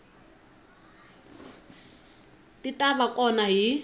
ti ta va kona hi